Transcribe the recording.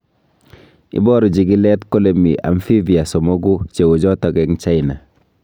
Iboru chikilet kole mi amphibia somoku cheuchoto eng China